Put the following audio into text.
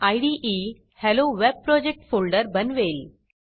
इदे hello web project folder बनवेल